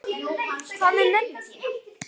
Hvað með mömmu þína?